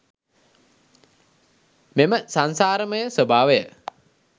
මෙම සංසාරමය ස්වභාවය